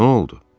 Nə oldu?